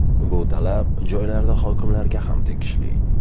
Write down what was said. Bu talab joylarda hokimlarga ham tegishli.